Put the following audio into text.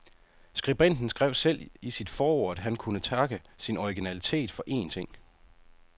Skribenten skrev selv i sit forord, at han kunne takke sin originalitet for én ting.